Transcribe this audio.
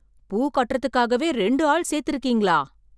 பூ கட்டறதுக்காகவே ரெண்டு ஆள் சேர்த்து இருக்கீங்களா?